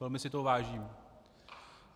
Velmi si toho vážím.